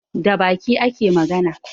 Da baki ake magana